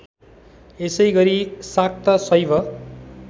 यसैगरी शाक्त शैव